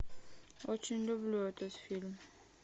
очень люблю этот фильм